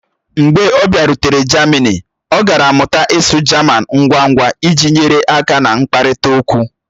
Mgbe ọ bịarutere jamini, ọ gara mụta ịsụ jaman ngwa ngwa iji nyere aka na nkparịta okwu.